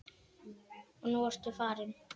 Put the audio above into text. Og nú ertu farin.